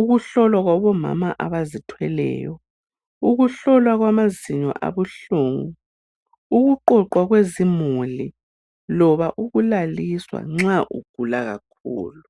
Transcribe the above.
ukuhlolwa kwabomama abazithweleyo, ukuhlolwa kwamazinyo abuhlungu, ukuqoqwa kwezimuli loba ukulaliswa nxa ugula kakhulu.